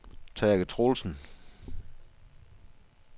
Tage Troelsen